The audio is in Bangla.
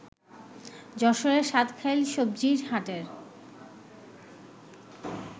যশোরের সাতখাইল সবজির হাটের